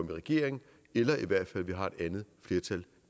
i regering eller i hvert fald når vi har et andet flertal